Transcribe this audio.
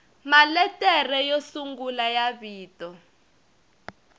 maletere yo sungula ya vito